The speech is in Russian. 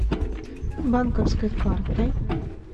банковской картой